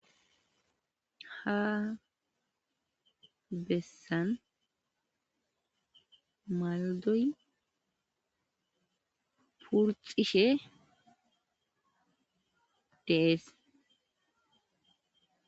Ha bessan maldoy purxishe dees.